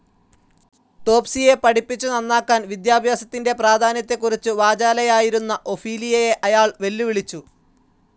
ടോപ്‌സിയെ പഠിപ്പിച്ചു നന്നാക്കാൻ, വിദ്യാഭ്യാസത്തിൻ്റെ പ്രാധാന്യതേകുറിച്ചു വാചാലയായിരുന്ന ഒഫീലിയയെ അയാൾ വെല്ലുവിളിച്ചു.